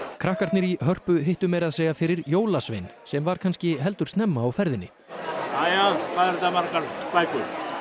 krakkarnir í Hörpu hittu meira að segja fyrir jólasvein sem var kannski heldur snemma á ferðinni jæja hvað eru þetta margar bækur